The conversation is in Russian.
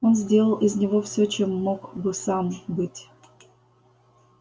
он сделал из него всё чем мог бы сам быть